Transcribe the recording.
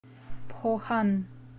пхохан